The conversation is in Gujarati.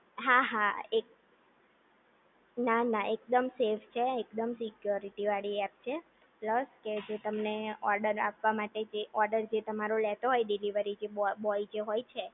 હા હા એક ના ના એકદમ શેફ છે દમ સિક્યુરિટી વાળી એપ છે પ્લસ કે જે તમને ઓર્ડર આપવા માટે જે ઓર્ડર જે તમારો લેતો હોય ડિલિવરી બોય જે હોય છે